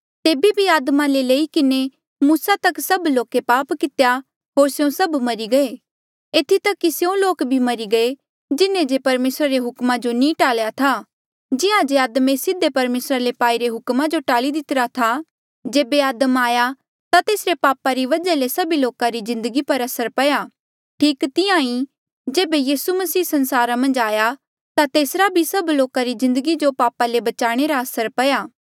तेबे भी आदमा ले लई किन्हें मूसा तक सभ लोके पाप कितेया होर स्यों सभ मरी गये एथी तक कि स्यों लोक भी मरी गये जिन्हें जे परमेसरा रे हुक्म नी टाल्या था जिहां जे आदमे सीधे परमेसरा ले पाईरे हुकमा जो टाल्ली दितिरा था जेबे आदम आया ता तेसरे पापा री वजहा ले सभी लोका री जिन्दगी पर असर पया ठीक तिहां ईं जेबे यीसू मसीह संसारा मन्झ आया ता तेसरा भी सभी लोका री जिन्दगी जो पापा ले बचाणे रा असर पया